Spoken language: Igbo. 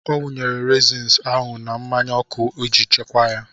Ọ wụnyere reezin ahụ na mmanya ọkụ iji chekwaa ya.